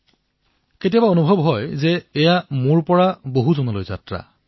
কেতিয়াবা কেতিয়াবা মই ভাবো যে এয়া হল মোৰ স্বৰ পৰা সমষ্টিলৈ যাত্ৰা